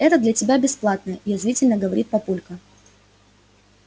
это для тебя бесплатно язвительно говорит папулька